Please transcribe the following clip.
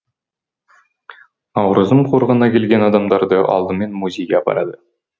наурызым қорығына келген адамдарды алдымен музейге апарады